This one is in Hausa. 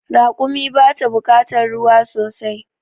Raƙumi bata bukatar ruwa sosai